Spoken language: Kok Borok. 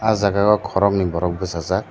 o jaga o khorognui borok bwchajak.